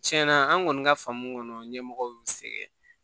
Tiɲɛna an kɔni ka faamu kɔnɔ ɲɛmɔgɔw y'u sɛgɛrɛ